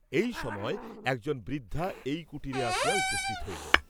এই সময় একজন বৃদ্ধা এই কুটিরে আসিয়া উপস্থিত হইল।